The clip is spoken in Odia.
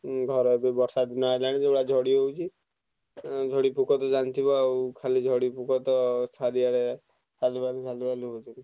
କଥା ଆଉ ଗହାର ଯୋଉ ବର୍ଷା ଦିନ ଆସିଲାଣି ଯୋଉଭଳିଆ ଝଡ ହଉଛି ଝଡି ପୋକ ତ ଜାଣିଥିବ ତ ଖାଲି ଝଡି ପୋକ ଚାରିଆଡେ ଖାଲି ସାଲୁବାଲୁ ହଉଛନ୍ତି।